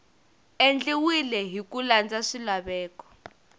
endliwile hi ku landza swilaveko